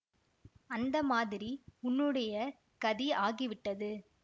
அந்த மாதிரி உன்னுடைய கதி ஆகிவிட்டது